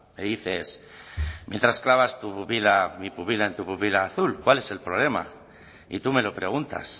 me dices mientras clavas tu pupila mi pupila en tu pupila vida azul cuál es el problema y tú me lo preguntas